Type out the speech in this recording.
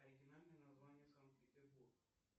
оригинальное название санкт петербург